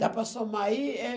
Dá para somar aí? Eh